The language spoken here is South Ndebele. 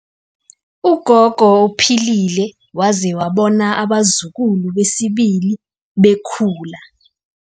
Ugogo uphilile waze wabona abazukulu besibili bekhula.